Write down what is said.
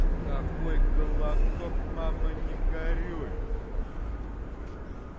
какой голосок мама не горюй